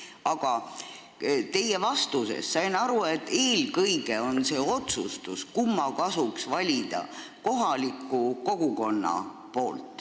Aga teie vastusest sain aru, et eelkõige teeb selle otsuse, kumma kasuks valida, kohalik kogukond.